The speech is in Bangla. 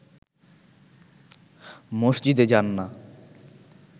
মসজিদে যান না